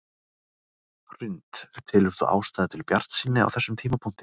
Hrund: Telur þú ástæðu til bjartsýni á þessum tímapunkti?